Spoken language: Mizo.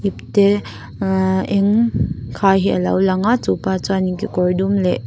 te ahh eng khai hi a lo lang chupa chuanin kekawr dum leh.